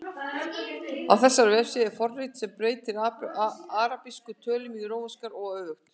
Á þessari vefsíðu er forrit sem breytir arabískum tölum í rómverskar og öfugt.